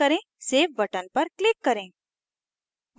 save button पर click करें